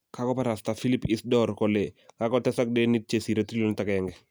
Kagobarasta philip isdor kole kagotesak denit chesire trillionit agenge.